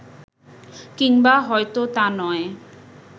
কিংবা হয়তো তা নয়